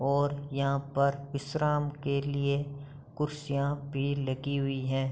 और यहाँ पर विश्राम के लिए कुर्सियां भी लगी हुई है।